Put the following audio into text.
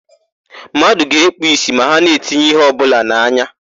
Mmadụ ga-ekpu ìsì ma ha na-etinye íhé ọbụla n'anya.